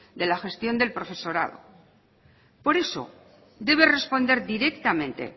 de la gestión del profesorado por eso debe responder directamente